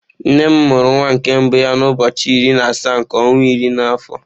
Nne m amuru nwa nke mbu ya na ụbọọchi iri na asaa nke ọnwa iri na afọ.